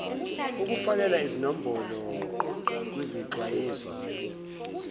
ukufakela izinombolo kwizixwayiso